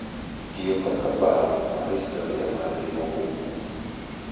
Tiyo kaka paro mar historia margi mogundho